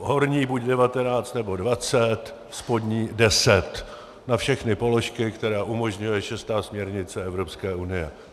Horní buď 19, nebo 20, spodní 10 na všechny položky, které umožňuje šestá směrnice EU.